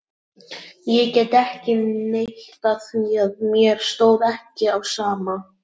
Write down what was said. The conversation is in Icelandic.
Ég get ekki neitað því að mér stóð ekki á sama.